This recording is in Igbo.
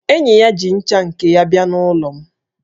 Enyi ya ji ncha nke ya bịa n'ụlọ m